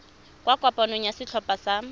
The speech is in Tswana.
kwa kopanong ya setlhopha sa